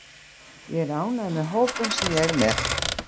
Ég er ánægður með hópinn sem ég er með.